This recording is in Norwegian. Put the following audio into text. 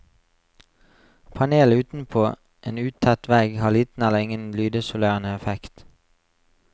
Panel utenpå en utett vegg har liten eller ingen lydisolerende effekt.